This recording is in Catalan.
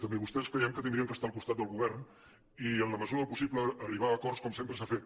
també vostès creiem que haurien d’estar al cos·tat del govern i en la mesura del possible arribar a acords com sempre s’ha fet